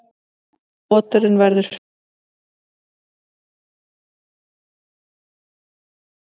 Oturinn verður fullvaxinn um ársgamall en ekki kynþroska fyrr en um tveggja ára aldur.